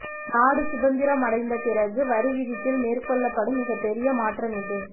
நாடு சுதந்திரமடைந்தபிறகு வரி விதிப்பில் மேற்கொள்ளப்படும் மிகப் பெரிய மாற்றம் இது